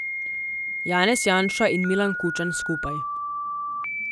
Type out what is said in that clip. Janez Janša in Milan Kučan skupaj.